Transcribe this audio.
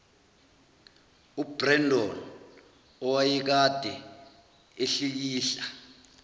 ubrendon owayekade ehlikihla